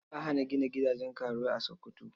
Za a hana gina gidajen karuwai a Sokoto.